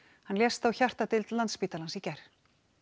hann lést á hjartadeild Landspítalans í gær